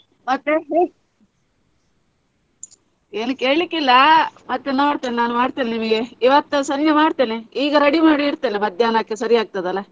ಮತ್ತೆ ಹೇ~ ಏನು ಕೇಳಿಕ್ಕಿಲ್ಲ ಮತ್ತೆ ನೋಡ್ತೇನೆ ನಾನು ಮಾಡ್ತೇನೆ ನಿಮಿಗೆ ಇವತ್ತು ಸಂಜೆ ಮಾಡ್ತೇನೆ ಈಗ ready ಮಾಡಿ ಇಡ್ತೇನೆ ಮಧ್ಯಾಹ್ನಕ್ಕೆ ಸರಿ ಆಗ್ತಾದಲ್ಲ?